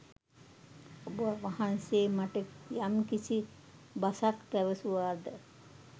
ඔබවහන්සේ මට යම්කිසි බසක් පැවසුවාද